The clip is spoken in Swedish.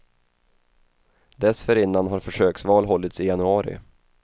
Dessförinnan har försöksval hållits i januari.